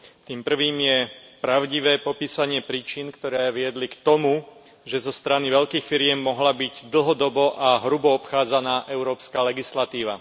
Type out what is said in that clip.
Tým prvým je pravdivé popísanie príčin, ktoré viedli k tomu, že zo strany veľkých firiem mohla byť dlhodobo a hrubo obchádzaná európska legislatíva.